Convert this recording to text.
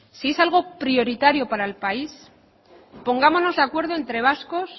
si es algo prioritario para el país pongámonos de acuerdo entre vascos